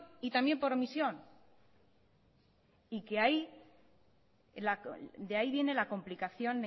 y también por omisión y de ahí viene la complicación